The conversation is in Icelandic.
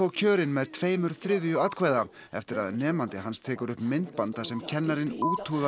kjörinn með tveimur þriðju atkvæða eftir að nemandi hans tekur upp myndband þar sem kennarinn úthúðar